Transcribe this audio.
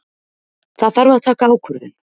Það þarf að taka ákvörðun.